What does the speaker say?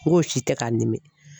N g'o si tɛ ka n dimi.